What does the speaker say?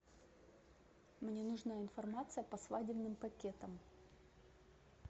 мне нужна информация по свадебным пакетам